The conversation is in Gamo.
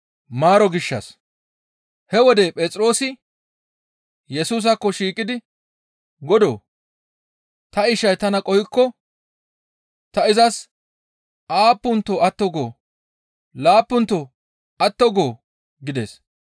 He wode Phexroosi Yesusaakko shiiqidi, «Godoo! Ta ishay tana qohikko ta izas aappunto atto goo? Laappunto atto goo?» gides.